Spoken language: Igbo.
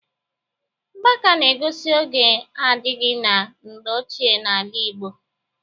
Mgbaka na-egosi oge adịrịghị na mgbe ochie n'ala Igbo